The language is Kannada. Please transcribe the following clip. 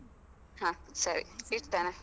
ಹ ಸರಿ, ಇಡ್ತೇನೆ.